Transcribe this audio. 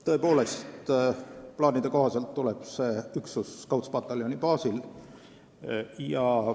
Tõepoolest, plaanide kohaselt tuleb see üksus Scoutspataljoni baasil.